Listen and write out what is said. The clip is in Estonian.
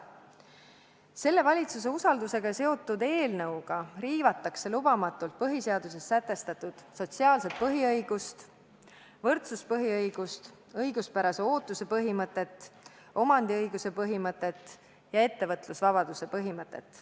Selle valitsuse usaldamisega seotud eelnõuga riivatakse lubamatult põhiseaduses sätestatud sotsiaalset põhiõigust, võrdsuspõhiõigust, õiguspärase ootuse põhimõtet, omandiõiguse põhimõtet ja ettevõtlusvabaduse põhimõtet.